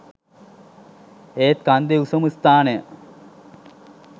ඒත් කන්දේ උසම ස්ථානය